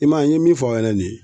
I m'a ye n ye min fɔ a ɲɛnɛ ni ye